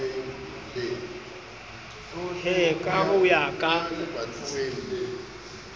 he ka ho ya ka